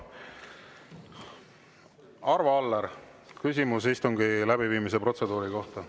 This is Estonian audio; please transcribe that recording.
Arvo Aller, küsimus istungi läbiviimise protseduuri kohta.